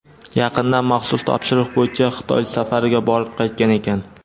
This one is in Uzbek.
yaqinda maxsus topshiriq bo‘yicha Xitoy safariga borib qaytgan ekan.